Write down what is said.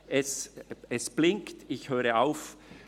Die Lampe blinkt, ich höre auf.